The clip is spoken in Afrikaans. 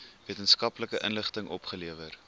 wetenskaplike inligting opgelewer